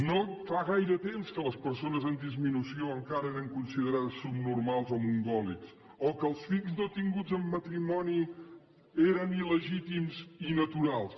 no fa gaire temps que les persones amb disminució encara eren considerades subnormals o mongòlics o que els fills no tinguts en matrimoni eren il·legítims i naturals